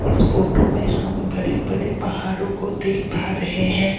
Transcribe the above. इस फोटो में हम बड़े बड़े पहाड़ों को देख पा रहे हैं।